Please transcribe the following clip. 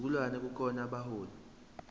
sizukulwane kukhona abaholi